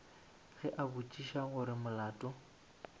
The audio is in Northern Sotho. ge a botšiša gore molato